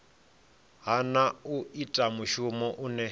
hana u ita mushumo une